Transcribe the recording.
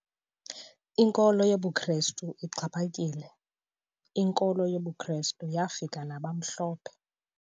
Inkolo yobuKrestu ixhaphakile. inkolo yokuKrestu yafika nabamhlophe